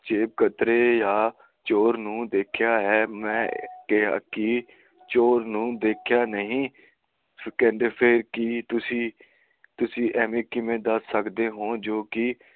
ਜੇਬ ਕਤਰੇ ਜਾਂ ਚੋਰ ਨੂੰ ਦੇਖਿਆ ਹੈ ਮੈਂ ਕਿਹਾ ਕਿ ਚੋਰ ਨੂੰ ਦੇਖਿਆ ਨਹੀਂ ਕਹਿੰਦੇ ਕਿ ਫ਼ੇਰ ਤੁਸੀ ਕਿਵੇਂ ਏਵੈ ਦੱਸ ਸਕਦੇ ਹੋ ਜੋ ਕਿ